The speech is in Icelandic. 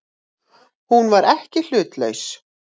Hún var ekki hlutlaus.